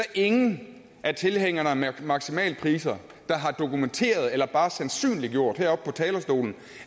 ingen af tilhængerne af maksimalpriser der har dokumenteret eller bare sandsynliggjort heroppe på talerstolen